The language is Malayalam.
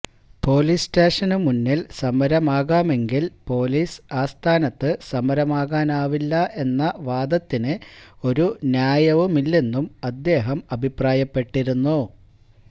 പൊലീസ് സ്റ്റേഷനു മുന്നിൽ സമരമാകാമെങ്കിൽ പൊലീസ് ആസ്ഥാനത്ത് സമരമാകാനാവില്ല എന്ന വാദത്തിന് ഒരു ന്യായവുമില്ലെന്നും അദ്ദേഹം അഭിപ്രായപ്പെട്ടിരുന്നു